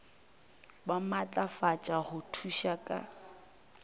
ba maatlafatšwe go thuša ka